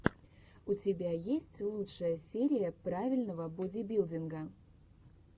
у тебя есть лучшая серия правильного бодибилдинга